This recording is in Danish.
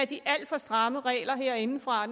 de alt for stramme regler herindefra